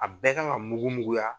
A bɛɛ ka kan ka mugu muguya.